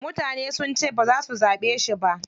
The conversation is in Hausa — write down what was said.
Mutane sun ce baza su zaɓe shi ba.